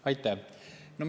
Aitäh!